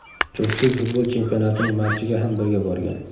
Juftlik futbol chempionatining matchiga ham birga borgan.